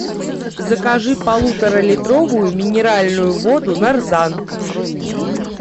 закажи полуторалитровую минеральную воду нарзан